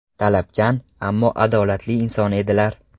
Talabchan, ammo adolatli inson edilar.